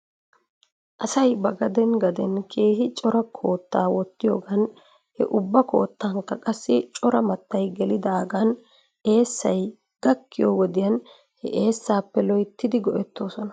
Asay ba gaden gaden keehi cora koottaa wottiyoogan he ubba koottankka qassi cora mattay gelidaagan eesay gakkiyyoo wodiyan he eessappe loyttidi go'etoosona.